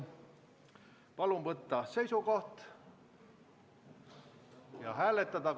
Palun võtta seisukoht ja hääletada!